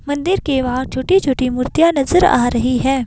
मंदिर के बाहर छोटी-छोटी मूर्तियां नज़र आ रही हैं।